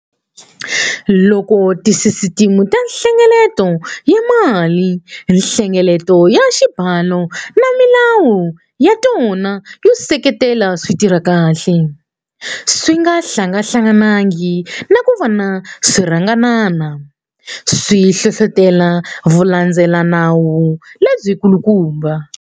Loko tisisiteme ta nhlengeleto wa malinhlengeleto ya xibalo na milawu ya tona yo seketela swi tirha kahle, swi nga hlangahlanganangi na ku va swi ringanana, swi hlohlotela vulandzelelanawu lebyikulukumba.